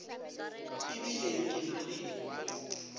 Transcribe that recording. e bile ke na le